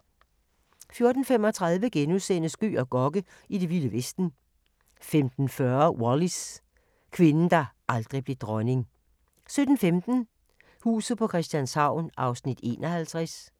14:35: Gøg og Gokke: I det vilde vesten * 15:40: Wallis – kvinden, der aldrig blev dronning 17:15: Huset på Christianshavn (51:84)